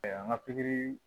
an ka pikiri